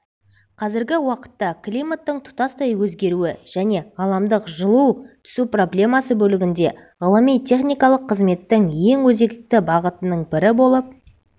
қазіргі уақытта климаттың тұтастай өзгеруі және ғаламдық жыли түсу проблемасы бөлігінде ғылыми-техникалық қызметтің ең өзекті бағытының бірі болып